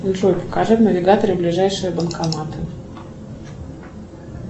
джой покажи в навигаторе ближайшие банкоматы